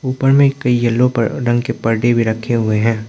ऊपर में कई येलो प रंग के पर्दे भी रखे हुए हैं।